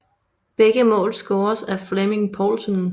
Begge mål scores af Flemming Povlsen